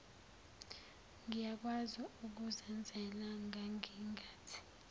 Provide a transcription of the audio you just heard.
ngiyakwazi ukuzenzela ngangingathi